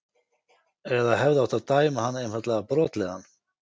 Eða hefði átt að dæma hann einfaldlega brotlegan?